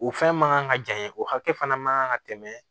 O fɛn man ka janya o hakɛ fana man kan ka tɛmɛ